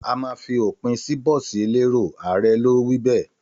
Àmà fi òpin bọ̀sí ẹlẹrò; Àré lò wí bẹ